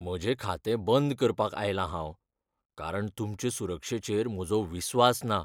म्हजें खातें बंद करपाक आयलां हांव, कारण तुमचे सुरक्षेचेर म्हजो विस्वास ना.